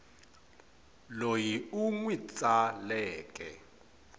loyi u n wi tsaleke